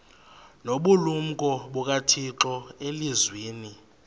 nobulumko bukathixo elizwini